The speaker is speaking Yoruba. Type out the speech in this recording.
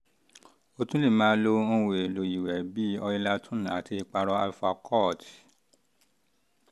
o tún lè um máa lo um ohun èlò ìwẹ̀ bíi oilatum àti ìpara alfacort